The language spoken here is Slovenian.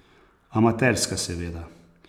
Amaterska, seveda.